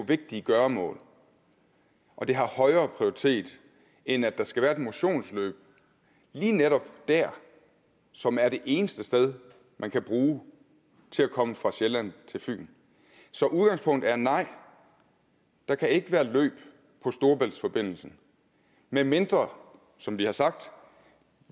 vigtige gøremål og det har højere prioritet end at der skal være et motionsløb lige netop der som er det eneste sted man kan bruge til at komme fra sjælland til fyn så udgangspunktet er nej der kan ikke være løb på storebæltsforbindelsen medmindre som vi har sagt